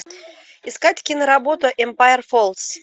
искать киноработу эмпайр фоллс